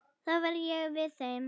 Þá verð ég við þeim.